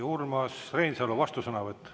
Urmas Reinsalu, vastusõnavõtt.